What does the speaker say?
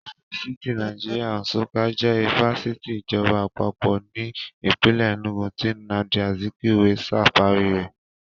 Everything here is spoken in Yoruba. Ifásitì Nàìjíríà Nsukka jẹ́ ifásitì ìjọba Àpapọ̀ ní ìpínlè Ẹnúgu tí Nnamdi Azikwe ṣàwárí rẹ̀